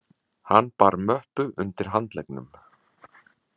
Hann bar möppu undir handleggnum.